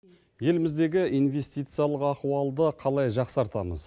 еліміздегі инвестициялық ахуалды қалай жақсартамыз